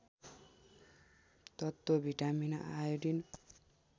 तत्त्व vitamin iodine